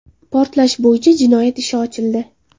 Portlash bo‘yicha jinoyat ishi ochildi .